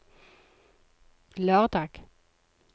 lørdag